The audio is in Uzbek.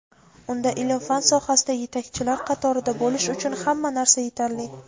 unda ilm-fan sohasida yetakchilar qatorida bo‘lish uchun hamma narsa yetarli.